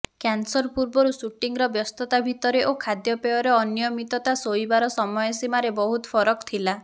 cancer ପୂର୍ବରୁ ସୁଟିଂର ବ୍ୟସ୍ତତା ଭିତରେ ଓ ଖାଦ୍ୟପେୟର ଅନିୟମିତତା ଶୋଇବାର ସମୟସୀମାରେ ବହୁତ ଫରକ ଥିଲା